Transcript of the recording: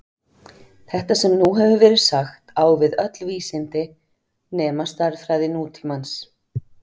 Þetta sem nú hefur verið sagt á við öll vísindi nema stærðfræði nútímans.